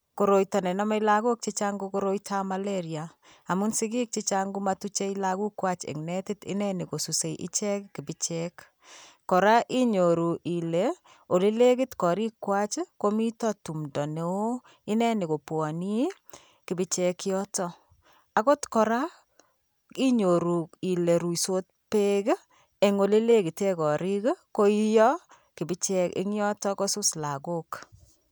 Koroito nename lagok chechang' ko Koroito ab malaria amun sigik chechang'komatuche lagok kwach eng' netit ineni kosuse ichek kibichek, koraa inyoru ile ole legit korik kwach komito tumdo neo ineni kopwanii kibichek yotok, akot koraa inyoru ile ruisot peek eng' ole legiten korik koiyo kibichek eng yotok kosus lagok.